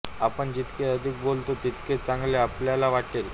आपण जितके अधिक बोलता तितके चांगले आपल्याला वाटेल